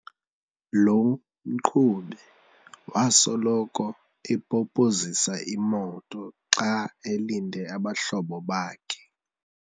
Lo mqhubi wasoloko epopozisa imoto xa elinde abahlobo bakhe.